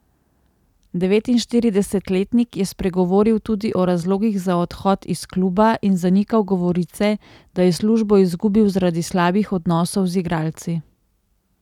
Devetinštiridesetletnik je spregovoril tudi o razlogih za odhod iz kluba in zanikal govorice, da je službo izgubil zaradi slabih odnosov z igralci.